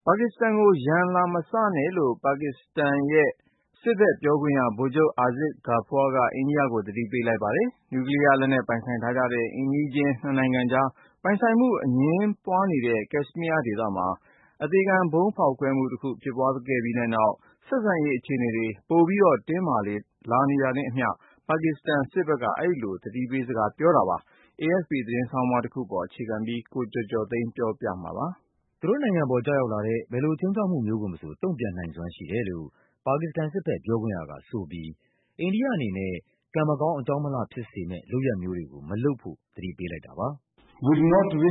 “ပါကစ္စတန်ကို ရန် လာမစပါနဲ့” လို့ ပါကစ္စတန်စစ်ဘက်ပြောခွင့်ရ ဗိုလ်ချုပ် Asif Ghafoor က အိန္ဒိယကို သတိ ပေးလိုက်ပါတယ်။ နျူကလီးယားလက်နက် ပိုင်ဆိုင်ထားတဲ့ အိမ်နီးချင်း နှစ်နိုင်ငံအကြား ပိုင်ဆိုင်မှုအငြင်းပွားနေတဲ့ ကက်ရှ်မီးယား ဒေသမှာ အသေခံ ဗုံးဖောက်ခွဲမှုတခုဖြစ်ပြီးတဲ့နောက် ဆက်ဆံရေးအခြေအနေ ပိုပြီး တင်းမာလာနေတာနဲ့ အမျှ ပါကစ္စတန် စစ်ဘက်က အဲဒီလို သတိပေးစကား ပြောလိုက်တာပါ။ AFP သတင်းဆောင်းပါးတပုဒ်ကို အခြေခံပြီး ကိုကျော်ကျော်သိန်းက ပြောပြပါမယ်။ သူတို့နိုင်ငံအပေါ် ကျရောက်လာတဲ့ ဘယ်လိုခြိမ်းခြောက်မှုမျိုးကိုမဆို တုံ့ပြန်နိုင်စွမ်း ရှိတယ်လို့ ပါကစ္စတန်စစ်ဘက် ပြောခွင့်ရကဆိုပြီး အိန္ဒိယအနေနဲ့ ကံမကောင်း အကြောင်းမလှဖြစ်စေမယ့် လုပ်ရပ်မျိုးတွေကို မလုပ်ဖို့ သတိပေးလိုက်တာပါ။ “ကျနော်တို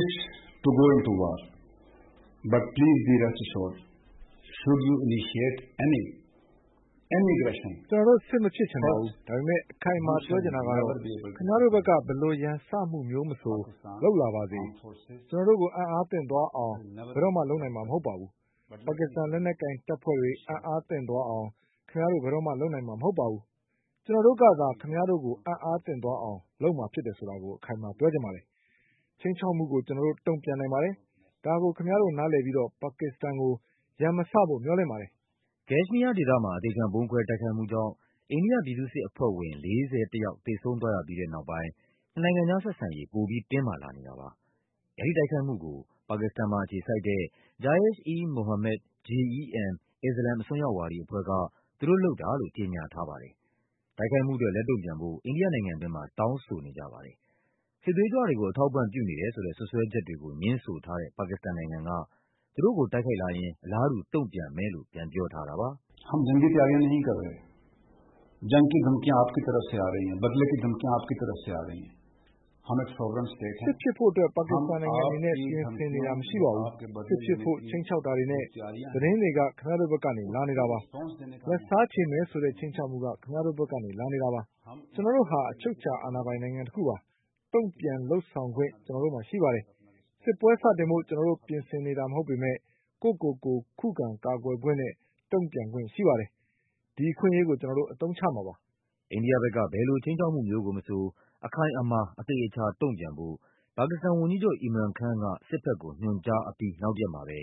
့ စစ်မဖြစ်ချင်ပါဘူး။ ဒါပေမယ့် အခိုင်အမာ ပြောချင်တာကတော့ ခင်ဗျားတို့ ဘက်က ဘယ်လို ရန်စမှုမျိုးမဆို လုပ်လာပါစေ၊ ကျနော်တို့ အံ့အားသင့်သွားအောင် ဘယ်တော့မှ လုပ်နိုင်မှာမဟုတ်ပါဘူး။ ပါကစ္စတန် လက်နက်ကိုင်တပ်ဖွဲ့တွေ အံ့အား သင့်သွားအောင် ခင်ဗျားတို့ ဘယ်တော့မှ လုပ်နိုင်မှာမဟုတ်ပါဘူး။ ကျနော်တို့ကသာ ခင်ဗျားတို့ အံ့အားသင့်သွားအောင် လုပ်မှာဖြစ်တယ်ဆိုတာကို အခိုင်အမာပြောချင်ပါ တယ်။ ခြိမ်းခြောက်မှုကို ကျနော်တို့ တုံ့ပြန်နိုင်ပါတယ်။ ဒါကို ခင်ဗျားတို့ နားလည်ပြီး ပါကစ္စတန်ကို ရန်မစဖို့ မျှော်လင့်ပါတယ်။” ကက်ရှ်မီးယားဒေသမှာ အသေခံ ဗုံးခွဲတိုက်ခိုက်မှုကြောင့် အိန္ဒိယပြည်သူ့စစ်အဖွဲ့ဝင် ၄၁ ယောက် သေဆုံးသွားရပြီးတဲ့နောက်ပိုင်း နှစ်နိုင်ငံကြားဆက်ဆံရေး ပိုပြီး တင်းမာလာနေ တာပါ။ အဲဒီတိုက်ခိုက်မှုကို ပါကစ္စတန်မှာအခြေစိုက်တဲ့ Jaish-e-Mohammed (JeM) အစ္စလာမ်အစွန်းရောက်ဝါဒီအဖွဲ့က သူတို့လုပ်တာလို့ ကြေညာထားပါတယ်။ တိုက်ခိုက်မှုအတွက် လက်တုံ့ပြန်ဖို့ အိန္ဒိယနိုင်ငံတွင်းမှာ တောင်းဆိုတာနေကြပါတယ်။ စစ်သွေးကြွတွေကို အထောက်အပံ့ပြု နေတယ်ဆိုတဲ့ စွပ်စွဲချက်တွေကို ငြင်းဆိုထားတဲ့ ပါကစ္စတန်နိုင်ငံက သူတို့ကို တိုက်ခိုက်လာရင် အလားတူ တုံ့ပြန်မယ်လို့ ပြန် ပြောထားတာပါ။ “စစ်ဖြစ်ဖို့အတွက် ပါကစ္စတန်နိုင်ငံအနေနဲ့ ပြင်ဆင်နေတာမရှိပါဘူး။ စစ်ဖြစ်ဖို့ ခြိမ်းခြောက် တာတွေနဲ့ သတင်းတွေက ခင်ဗျားတို့ဘက်ကနေ လာနေတာပါ။ လက်စားခြေ မယ်ဆိုတဲ့ ခြိမ်းခြောက်မှုက ခင်ဗျားတို့ဘက်က လာနေတာပါ။ ကျနော်တို့ဟာ အချုပ်အခြာအာဏာ ပိုင် နိုင်ငံတခုပါ။ တုံ့ပြန်လုပ်ဆောင်ခွင့် ကျနော်တို့မှာရှိပါတယ်။ စစ်ပွဲစတင်ဖို့ ကျနော်တို့ ပြင်ဆင်နေတာ မဟုတ်ပေမယ့် ကိုယ့်ကိုယ်ကို ခုခံကာကွယ်ခွင့်နဲ့ တုံ့ပြန်ခွင့် ရှိပါတယ်။ အဲဒီအခွင့်အရေးကို ကျနော်တို့ အသုံးချမှာပါ။” အိန္ဒိယဘက်က ဘယ်လိုခြိမ်းခြောက်မှုမျိုးကိုမဆို “အခိုင်အမာ အသေအချာတုံ့ပြန်” ဖို့ ပါကစ္စတန်ဝန်ကြီးချုပ် Imran Khan က စစ်ဘက်ကို ညွှန်ကြားအပြီး နောက်တရက်မှာပဲ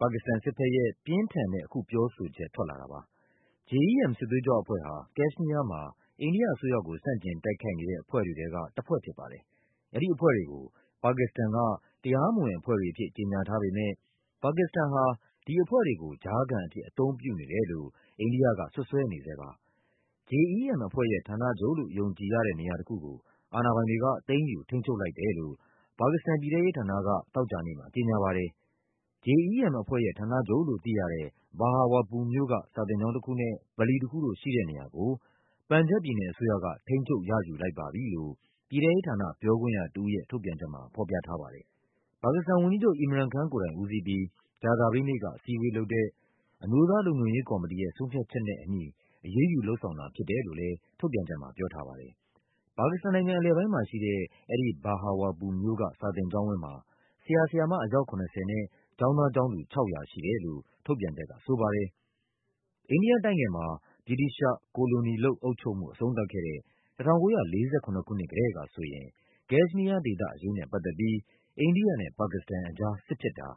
ပါကစ္စတန်စစ်ဘက်ရဲ့ ပြင်းထန်တဲ့ အခုတုံ့ပြန်ချက် ထွက်လာတာပါ။ JeM စစ်သွေးကြွအဖွဲ့ဟာ ကက်ရှ်မီးယားမှာ အိန္ဒိယအစိုးရကို ဆန့်ကျင်တိုက်ခိုက်နေတဲ့ အဖွဲ့တွေထဲက တဖွဲ့ဖြစ်ပါတယ်။ အဲဒီအဖွဲ့တွေကို ပါကစ္စတန်က တရားမဝင်အဖွဲ့တွေအဖြစ် ကြေညာထားပေမယ့် ပါကစ္စတန်ဟာ ဒီအဖွဲ့တွေကို ကြားခံအဖြစ် အသုံးပြုနေတယ်လို့ အိန္ဒိယက စွပ်စွဲနေဆဲပါ။ JeM အဖွဲ့ရဲ့ ဌာနချုပ်လို့ ယုံကြည်တဲ့ နေရာတခုကို အာဏာပိုင်တွေက သိမ်းယူ ထိန်းချုပ် လိုက်တယ်လို့ ပါကစ္စတန် ပြည်ထဲရေး ဌာနက သောကြာနေ့မှာ ကြေညာပါတယ်။ “JeM အဖွဲ့ရဲ့ ဌာနချုပ်လို့ သိရတဲ့ Bahawalpur မြို့က စာသင်ကျောင်းတခုနဲ့ ဗလီတခုတို့ ရှိတဲ့နေရာကို ပန်ဂျပ်ဘ်ပြည်နယ်အစိုးရ က ထိန်းချုပ်ရယူလိုက်ပါပြီ” လို့ ပြည်ထဲရေးဌာန ပြောခွင့်ရတဦးရဲ့ ထုတ်ပြန်ချက်မှာ ဖော်ပြထားပါတယ်။ ပါကစ္စတန်ဝန်ကြီးချုပ် Imran Khan ကိုယ်တိုင်ဦးစီးပြီး ကြာသပတေးနေ့က အစည်းအဝေး လုပ်တဲ့ “အမျိုးသားလုံခြုံရေးကော်မတီ ရဲ့ ဆုံးဖြတ်ချက်နဲ့အညီ အရေးယူလုပ်ဆောင်တာဖြစ်တယ်” လို့လည်း ထုတ်ပြန်ချက်မှာ ပြောထားပါတယ်။ ပါကစ္စတန်ုနိုင်ငံ အလယ်ပိုင်းမှာရှိတဲ့ အဲဒီ Bahawalpur မြို့က စာသင်ကျောင်းဝင်းမှာ ဆရာ ဆရာမ အယောက် ၇၀ နဲ့ ကျောင်းသားကျောင်းသူ ၆၀၀ ရှိတယ်လို့ ထုတ်ပြန်ချက် က ဆိုပါတယ်။ အိန္ဒိယတိုက်ငယ်မှာ ဗြိတိသျှ ကိုလိုနီလုပ် အုပ်ချုပ်မှု အဆုံးသတ်ခဲ့တဲ့ ၁၉၄၇ ခုနှစ် ကတည်းကဆိုရင် ကက်ရှ်မီးယားဒေသအရေး နဲ့ပတ်သက်ပြီး အိန္ဒိယနဲ့ပါကစ္စတန်အကြား စစ်ဖြစ်တာ